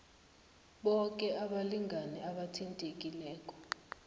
boke abalingani abathintekileko